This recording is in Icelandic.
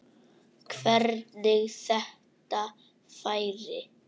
Hvernig þetta færi.